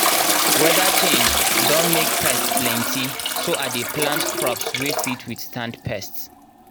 weather change don make pest plentyso i dey plant crops wey fit withstand pests.